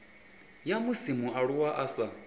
ya musi mualuwa a sa